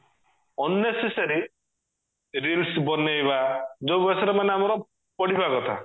unnecessary reels ବନେଇବା ଯଉ ବୟସରେ ଆମର ପଢିବା କଥା